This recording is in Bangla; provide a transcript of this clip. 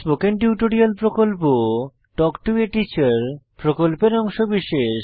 স্পোকেন টিউটোরিয়াল প্রকল্প তাল্ক টো a টিচার প্রকল্পের অংশবিশেষ